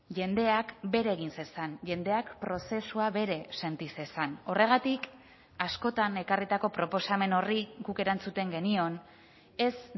jendeak bere egin zezan jendeak prozesua bere senti zezan horregatik askotan ekarritako proposamen horri guk erantzuten genion ez